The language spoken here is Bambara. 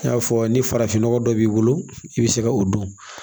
I y'a fɔ ni farafinnɔgɔ dɔ b'i bolo i bɛ se ka o dɔn